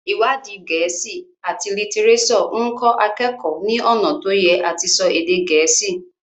iwadi Gèésì at litireso nkọ akeko ní ọnà to Ye àti so èdè gèésì.